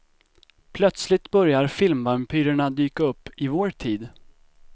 Plötsligt börjar filmvampyrerna dyka upp i vår tid.